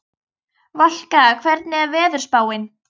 Valka, hvernig er veðurspáin?